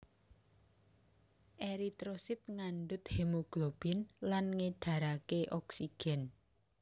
Eritrosit ngandhut hemoglobin lan ngédharaké oksigen